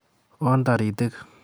Oon taritik